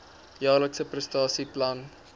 jaarlikse prestasie plan